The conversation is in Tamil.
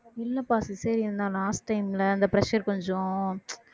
இல்லப்பா cesarean தான் last time ல இந்த pressure கொஞ்சம்